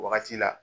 Wagati la